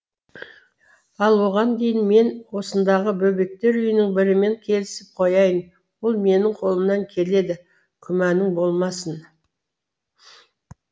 ал оған дейін мен осындағы бөбектер үйінің бірімен келісіп қояйын ол менің қолымнан келеді күмәнің болмасын